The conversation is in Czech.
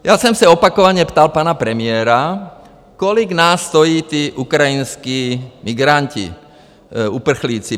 Já jsem se opakovaně ptal pana premiéra, kolik nás stojí tí ukrajinští migranti, uprchlíci?